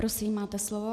Prosím, máte slovo.